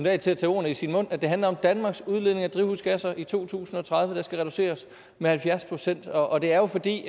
at tage de ord i sin mund at det handler om at danmarks udledning af drivhusgasser i to tusind og tredive skal reduceres med halvfjerds procent og det er jo fordi